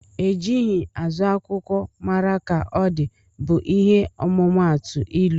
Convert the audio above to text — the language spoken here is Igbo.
Ejighi azụ akwụkwọ mara ka ọdi bu ihe ọmumatu ilụ.